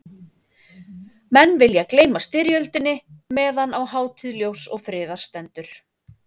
Menn vilja gleyma styrjöldinni meðan á hátíð ljóss og friðar stendur.